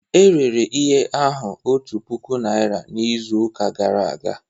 E rere ihe ahụ otu puku naira n'izuụka gara aga